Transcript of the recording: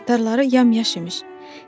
Paltarları yamyaşıq imiş.